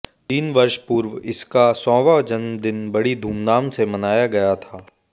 तीन वर्ष पूर्व इसका सौ वाँ जन्म दिन बड़ी धूमधाम से मनाया गया था